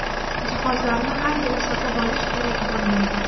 Jihozlarni har yili sotib olish kerak bo‘lmaydi.